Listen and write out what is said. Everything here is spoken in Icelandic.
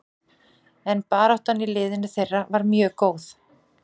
En baráttan í liðinu þeirra var mjög góð.